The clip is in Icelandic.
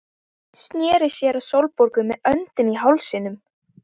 Sneri sér að Sólborgu með öndina í hálsinum.